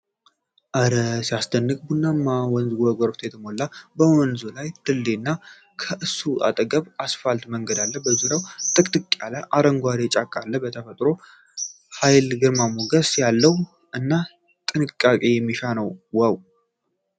ኧረ ሲያስደንቅ! ቡናማው ወንዝ በጎርፍ የተሞላ ነው ። በወንዙ ላይ ድልድይ እና ከእሱ አጠገብ አስፋልት መንገድ አለ። በዙሪያው ጥቅጥቅ ያለ አረንጓዴ ጫካ አለ ። የተፈጥሮ ኃይል ግርማ ሞገስ ያለው እና ጥንቃቄ የሚሻ ነው። ዋው !